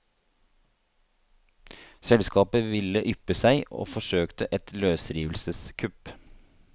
Selskapet ville yppe seg og forsøkte et løsrivelseskupp.